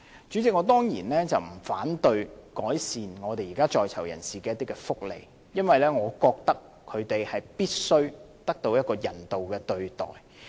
主席，我當然不反對改善在囚人士的福利，因為我覺得他們必須得到人道的對待。